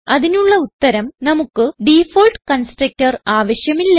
അതിനുള്ള ഉത്തരം നമുക്ക് ഡിഫോൾട്ട് കൺസ്ട്രക്ടർ ആവശ്യമില്ല